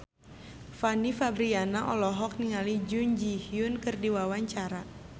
Fanny Fabriana olohok ningali Jun Ji Hyun keur diwawancara